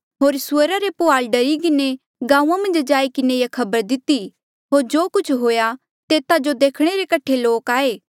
होर सुअरा रे पुहाल डरी किन्हें गांऊँआं मन्झ जाई किन्हें ये खबर दिती होर जो कुछ हुआ तेता जो देखणे रे कठे लोक आये